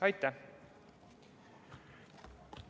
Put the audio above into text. Aitäh!